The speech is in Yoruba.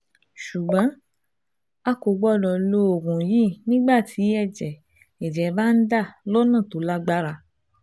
Ṣùgbọ́n a kò gbọ́dọ̀ lo oògùn yìí nígbà tí ẹ̀jẹ̀ ẹ̀jẹ̀ bá ń dà lọ́nà tó lágbára